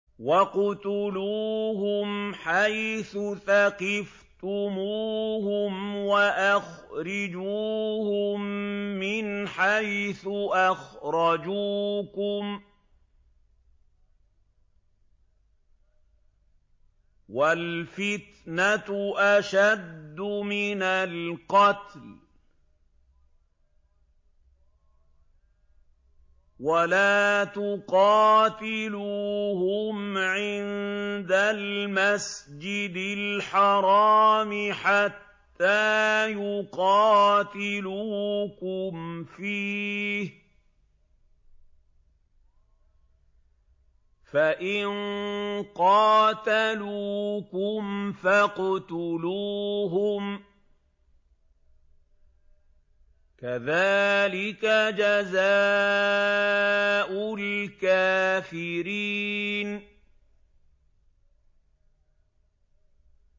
وَاقْتُلُوهُمْ حَيْثُ ثَقِفْتُمُوهُمْ وَأَخْرِجُوهُم مِّنْ حَيْثُ أَخْرَجُوكُمْ ۚ وَالْفِتْنَةُ أَشَدُّ مِنَ الْقَتْلِ ۚ وَلَا تُقَاتِلُوهُمْ عِندَ الْمَسْجِدِ الْحَرَامِ حَتَّىٰ يُقَاتِلُوكُمْ فِيهِ ۖ فَإِن قَاتَلُوكُمْ فَاقْتُلُوهُمْ ۗ كَذَٰلِكَ جَزَاءُ الْكَافِرِينَ